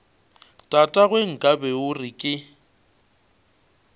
tatagwe nkabe o re ke